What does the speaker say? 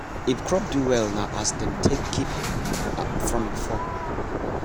if crop do well na as dem take keep m from before